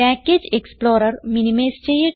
package explorer minimise ചെയ്യട്ടെ